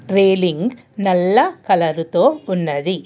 Wheeling నల్ల colour తో ఉన్నది.